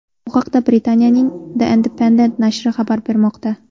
Bu haqda Britaniyaning The Independent nashri xabar bermoqda .